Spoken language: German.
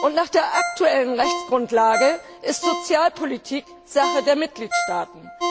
Und nach der aktuellen Rechtsgrundlage ist Sozialpolitik Sache der Mitgliedstaaten.